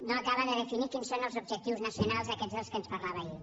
no acaba de definir quins són els objectius nacionals aquests de què ens parlava ahir